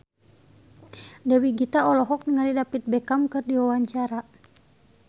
Dewi Gita olohok ningali David Beckham keur diwawancara